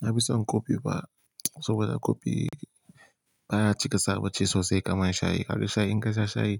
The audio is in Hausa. Na fi son kofi ba, saboda kofi baya cika saboda ci sosai kaman shayi. Haka dai shayi in ka sha shayi